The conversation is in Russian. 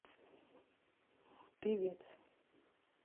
певец